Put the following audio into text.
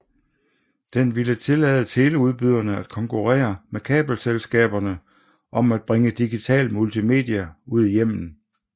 Den ville tillade teleudbyderne at konkurrere med kabelselskaberne om at bringe digital multimedia ud i hjemmene